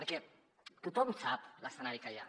perquè tothom sap l’escenari que hi ha